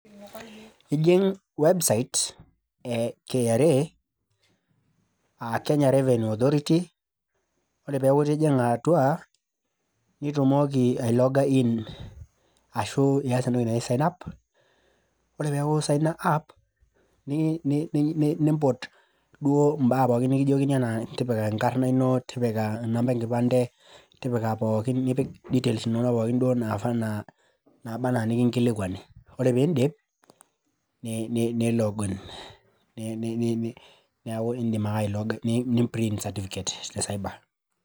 Ijing website e KRA aa Kenya Revenue Authority ore piaku itijinga atua pitumoki ai loga in ashu ias entoki naji sign up ore peaku i signa up nimpot duo mbaa pookin nikijoki anaa enkarna ino ,namba enkipande, tipika pookin details pookin nabaa anaa nikinkilikwani ore piindip ni log in neakibindim ake ni[print certificate te cyber